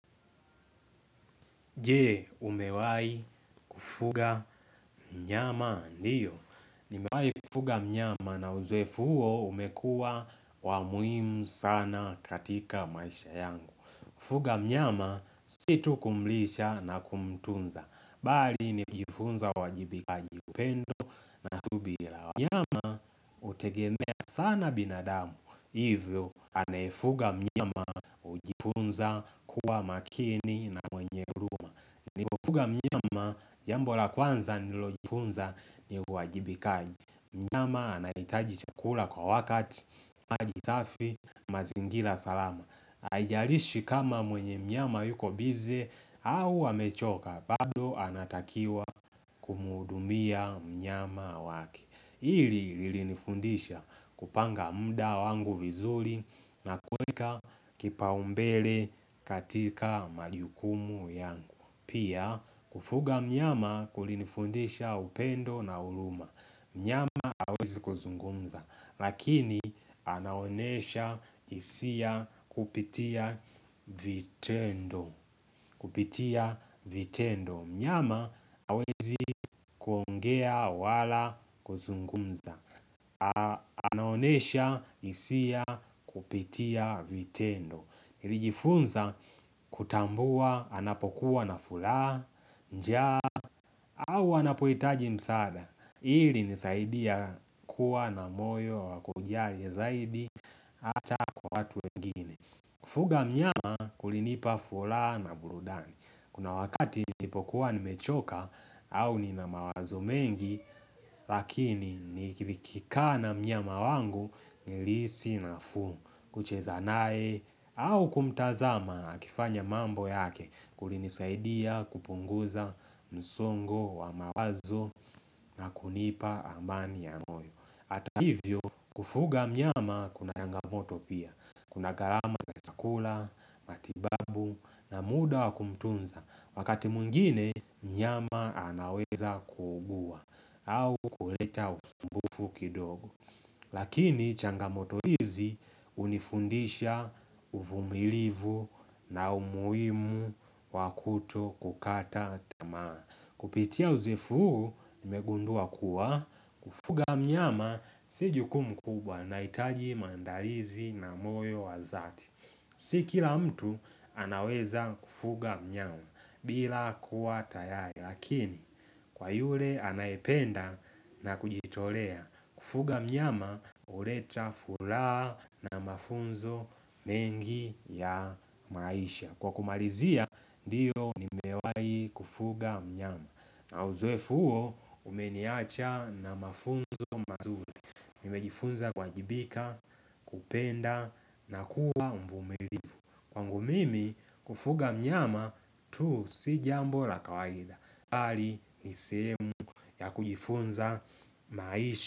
Je, umewahi kufuga mnyama? Ndiyo. Nimewahi kufuga mnyama na uzoefu huo umekuwa wa umuhimu sana katika maisha yangu. Kufuga mnyama si tu kumlisha na kumtunza. Bali nikujifunza uwajibikaji, upendo subira. Mnyama hutegemea sana binadamu. Hivyo, anaefuga mnyama hujifunza kuwa makini na mwenye huruma. Nilivyofuga mnyama, jambo la kwanza nililojifunza ni uwajibikaji. Mnyama anahitaji chakula kwa wakati, maji safi, mazingira salama. Haijalishi kama mwenye mnyama yuko busy au amechoka, bado anatakiwa kumhudumiamnyama wake. Hili ilinifundisha kupanga muda wangu vizuri na kuweka kipaumbele katika majukumu yangu. Pia kufuga mnyama kulinifundisha upendo na huruma, Mnyama hawezi kuzungumz, lakini anaonesha hisia kupitia vitendo Kupitia vitendo, mnyama hawezi kuongea wala kuzungumza Anaonesha hisia kupitia vitendo nilijifunza kutambua anapokuwa nafuraha, njaa au wanapohitaji msaada ili nisaidie kuwa na moyo wa kujali zaidi Hata watu wengine, kufuga mnyama kulinipa furaha na burudani, kuna wakati nilipokuwa nimechoka au nina mawazo mengi Lakini nikikaa na mnyama wangu, nilihisi nafuu kucheza naye au kumtazama akifanya mambo yake, kulinisaidia kupunguza msongo wa mawazo na kunipa amani ya moyo. Hata hivyo, kufuga mnyama kuna changamoto pia, kuna gharama za chakula, matibabu, na muda wa kumtunza, wakati mwingine, mnyama anaweza kuugua au kuleta usumbufu kidogo Lakini changamoto hizi, hunifundisha uvumilivu na umuhimu wa kuto kukata tamaa. Kupitia uzoefu huu, nimegundua kuwa. Kufuga mnyama si jukumu kubwa nahitaji maandalizi na moyo wa dhati. Si kila mtu anaweza kufuga mnyama bila kuwa tayari. Lakini kwa yule anaependa na kujitolea. Kufuga mnyama, huleta furaha na mafunzo mengi ya maisha kwa kumalizia, ndiyo nimewai kufuga mnyama, na uzoefu huo, umeniacha na mafunzo mazuri nimejifunza kuwajibika, kupenda na kuwa mvumilivu, kwangu mimi, kufuga mnyama, tu si jambo la kawaida, bali ni sehemu ya kujifunza maisha.